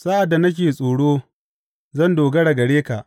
Sa’ad da nake tsoro, zan dogara gare ka.